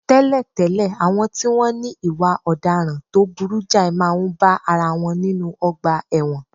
Tẹ́lẹ̀tẹ́lẹ̀, àwọn tí wọ́n ní ìwà ọ̀daràn tó burú jáì máa ń bá ara wọn nínú ọgbà ẹ̀wọ̀n